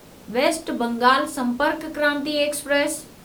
waste Bengal Sampark Kranti express